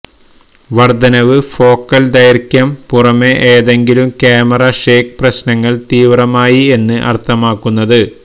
വർദ്ധനവ് ഫോക്കൽ ദൈർഘ്യം പുറമേ ഏതെങ്കിലും ക്യാമറ ഷേക്ക് പ്രശ്നങ്ങൾ തീവ്രമായി എന്ന് അർത്ഥമാക്കുന്നത്